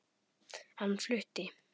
Hann flutti